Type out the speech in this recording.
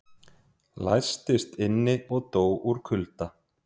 Læstist inni og dó úr kulda